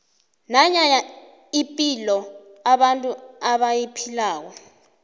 nanya ipilo abantu abayiphilako